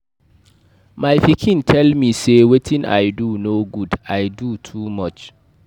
My pikin tell me say wetin I do no good, I doo too much